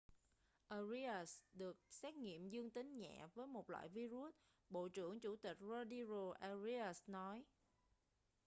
arias được xét nghiệm dương tính nhẹ một loại vi-rút bộ trưởng chủ tịch rodrigo arias nói